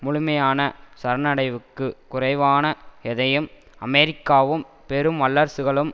முழுமையான சரணடைவுக்கு குறைவான எதையும் அமெரிக்காவும் பெரும் வல்லரசுகளும்